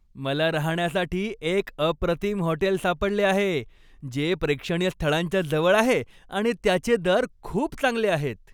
मला राहण्यासाठी एक अप्रतिम हॉटेल सापडले आहे, जे प्रेक्षणीय स्थळांच्या जवळ आहे आणि त्याचे दर खूप चांगले आहेत.